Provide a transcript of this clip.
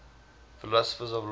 philosophers of law